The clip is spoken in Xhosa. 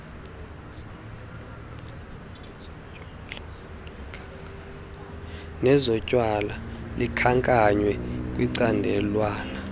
nezotywala likhankanywe kwicandelwana